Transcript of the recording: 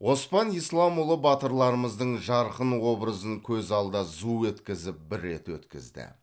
оспан исламұлы батырларымыздың жарқын образын көз алдында зу еткізіп бір рет өткізді